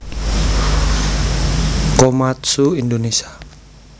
Komatsu Indonésia